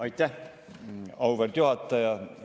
Aitäh, auväärt juhataja!